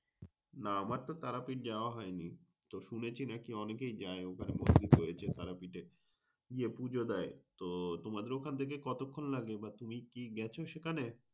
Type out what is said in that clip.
না আমার তো তারাপীঠ যাওয়া হয়নি। তো শুনেছি নাকি অখনে অনেকে যায় তারাপীঠ গিয়ে পুজো দেয়। তো তোমার খান থেকে কতখন লাগে? বা তুমি কি গেছ সেখানে?